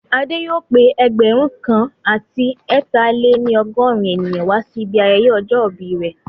Adé yóò pé ẹgbẹ̀rún kan àti ẹ ta-lè-ní-ọgọ́rin ènìyàn wá sí ibi ayẹyẹ ọjọ́ ìbí rẹ̀